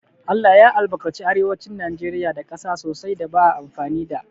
ALLAH ya albarkace arewacin najeriya da ƙasa sosai da ba a amfani da